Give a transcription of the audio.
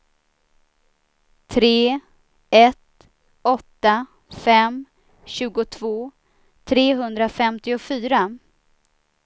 tre ett åtta fem tjugotvå trehundrafemtiofyra